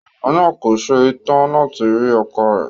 Obìnrin náà kò se tán láti rí ọkọ rẹ̀.